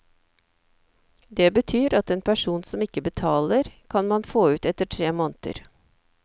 Det betyr at en person som ikke betaler, kan man få ut etter tre måneder.